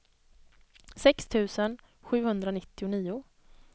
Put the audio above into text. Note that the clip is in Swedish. sex tusen sjuhundranittionio